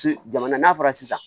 jamana n'a fɔra sisan